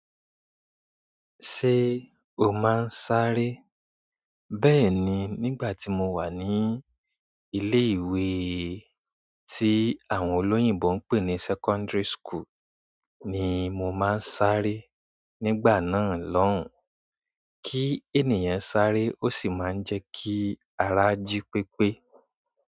Ṣé o máa ń sáré? Bẹ́ẹ̀ni, nígbà tí mo wà ní ilé ìwé tí àwọn olóyìnbo ń pè ní secondary school ni mo máa ń sáré. Nígbà náà lọ́hùn, kí ènìyàn sáré ó sì máa ń jẹ́ kí ara jí pépé.